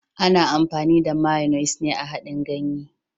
Ana amfani da " mayonnaise " a haɗin ganye.